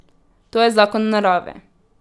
To je zakon Narave.